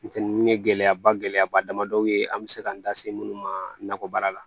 Ntɛnɛn ninnu ye gɛlɛyaba gɛlɛyaba damadɔw ye an bɛ se k'an da se minnu ma nakɔ baara la